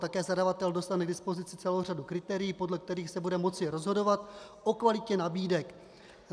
Také zadavatel dostane k dispozici celou řadu kritérií, podle kterých se bude moci rozhodovat o kvalitě nabídek.